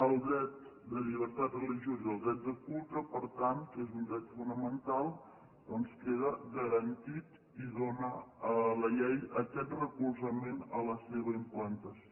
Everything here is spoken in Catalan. el dret de llibertat religiosa i el dret de culte per tant que són un dret fonamental doncs queden garantits i donen a la llei aquest recolzament a la seva implantació